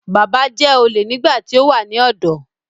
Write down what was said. Bàbá jẹ́ olè nígbà tí ó wà ní ọ̀dọ́